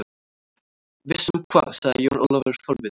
Viss um hvað, sagði Jón Ólafur forvitinn.